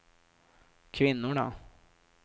kvinnorna